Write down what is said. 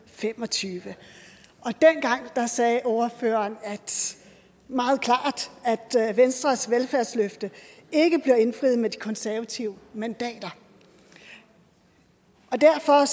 og fem og tyve og dengang sagde ordføreren meget klart at venstres velfærdsløfte ikke bliver indfriet med de konservative mandater derfor